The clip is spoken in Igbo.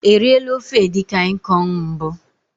E riela ofe edikaikong mbụ?